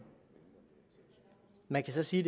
man kan så sige